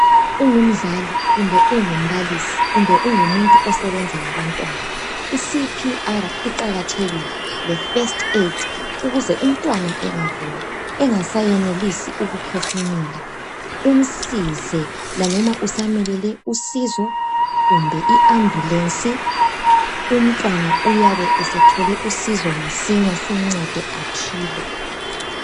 ungumzali kumbe ungumbalisi kumbe ungumuntu osebenza labantwana i CPR iqakathekile le first aid ukuze umntwana engagula engasayenelisi ukuphefumula umsize laloba usamelele usizo kumbe i ambulence umntwana uyabe esethole uszo masinya simncede aphile